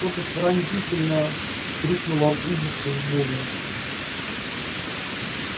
кто то пронзительно вскрикнул от ужаса и боли